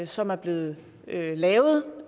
som er blevet lavet